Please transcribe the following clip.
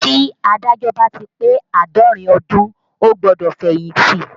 Tí Adájọ́ bá ti pé Àádọ́rin ọdún ó gbọ́dọ̀ fẹ̀yìntì